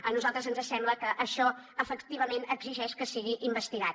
a nosaltres ens sembla que això efectivament exigeix que sigui investigat